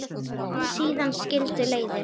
Síðan skildu leiðir.